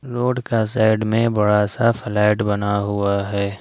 Road का side में बड़ा सा फ्लैट बना हुआ है।